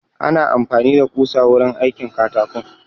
Ana amfani da ƙusa wurin aikin katako